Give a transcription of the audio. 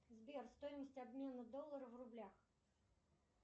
сбер стоимость обмена доллара в рублях